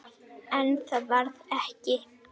En það varð ekki.